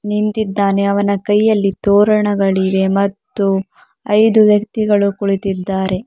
ನಿಂತಿದ್ದಾನೆ ಅವನ ಕೈಯಲ್ಲಿ ತೋರಣಗಳಿವೆ ಮತ್ತು ಇದು ವ್ಯಕ್ತಿಗಳು ಕುಳಿತಿದ್ದಾರೆ.